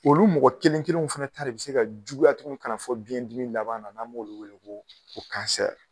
Olu mɔgɔ kelen kelen fɛnɛ ta bɛ se ka juguya tugun kana fɔ biɲɛ dimi laban na b'olu wele ko